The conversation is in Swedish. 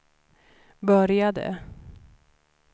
började